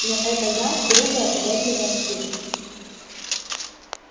но эта гарь грубая уродливая стрижка